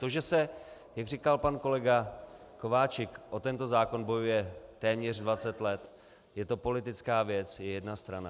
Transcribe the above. To, že se - jak říkal pan kolega Kováčik - o tento zákon bojuje téměř 20 let, je to politická věc, je jedna strana.